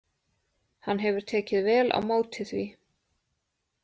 Hann hefur tekið vel á móti því.